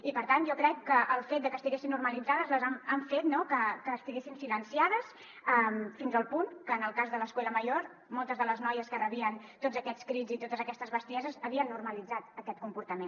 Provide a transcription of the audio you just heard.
i per tant jo crec que el fet de que estiguessin normalitzades ha fet que estiguessin silenciades fins al punt que en el cas de l’escuela mayor moltes de les noies que rebien tots aquests crits i totes aquestes bestieses havien normalitzat aquest comportament